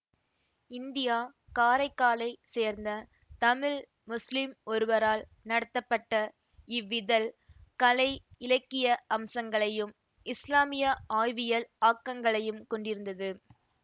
India காரைக்காலைச் சேர்ந்த தமிழ் முஸ்லிம் ஒருவரால் நடத்தப்பட்ட இவ்விதழ் கலை இலக்கிய அம்சங்களையும் இஸ்லாமியா ஆய்வியல் ஆக்கங்களையும் கொண்டிருந்தது